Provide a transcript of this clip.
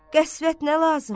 Qəsvət nə lazım?